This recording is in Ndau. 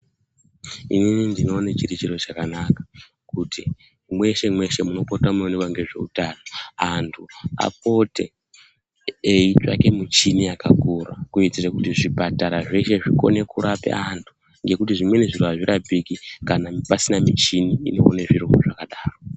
Inini ndinoona chiri chiro chakanaka kuti mweshe-mweshe munopota munoonekwa ngezvehutano antu apote eitsvake michini yakakura kuitira kuti zvipatara zveshe zvikone kurapa antu ngekuti zvimweni zviro azvirapiki kana pasina michini inoone zviro zvakadaro.